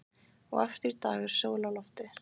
Og aftur í dag er sól á lofti.